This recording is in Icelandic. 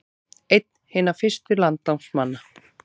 Einn hinna fyrstu landnámsmanna